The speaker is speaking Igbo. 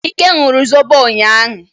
Ike ñuru zobo ụnyanya.